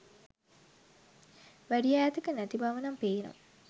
වැඩි ඈතක නැති බවනම් පේනවා